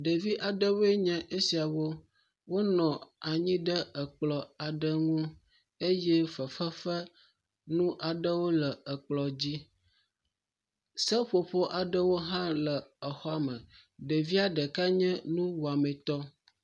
Ɖevia ɖewoe nye esiawo, wonɔ anyi ɖe ekplɔ aɖe ŋu eye fefe fe nu aɖewo le ekplɔ dzi, seƒoƒo aɖewo hã le exɔa me, ɖeviaɖeka nye nuwɔametɔ.